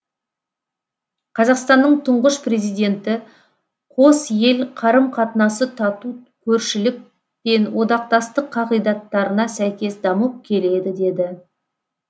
қазақстанның тұңғыш президенті қос ел қарым қатынасы тату көршілік пен одақтастық қағидаттарына сәйкес дамып келеді деді